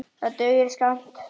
Það dugir skammt.